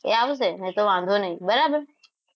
એ આવશે નહિતર વાંધો નહીં બરાબર